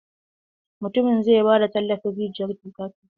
Mutumin zai ba da tallafin rijiyar tuƙa-tuƙa.